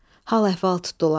Hal-əhval tutdular.